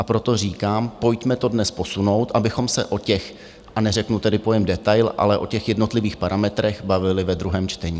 A proto říkám, pojďme to dnes posunout, abychom se o těch, a neřeknu tedy pojem detail, ale o těch jednotlivých parametrech bavili ve druhém čtení.